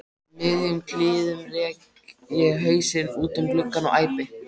miðjum klíðum rek ég hausinn út um gluggann og æpi